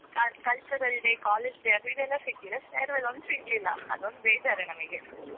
cultural day, college day ಅದ್ದಿದ್ದೆಲ್ಲ ಸಿಕ್ಕಿದೆ. farewell ಒಂದ್ ಸಿಗಲಿಲ್ಲ ಅದೊಂದ್ ಬೇಜಾರೇ ನಮಗೆ.